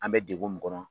An bɛ degun min kɔnɔ